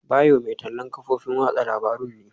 Bayo mai tallan kafofin watsa labarun ne.